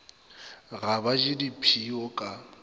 ga ba je dipshio ka